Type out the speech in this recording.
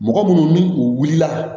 Mɔgɔ minnu ni u wulila